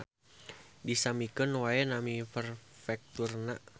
Disamikeun wae nami perfekturna